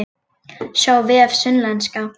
Sjá vef Sunnlenska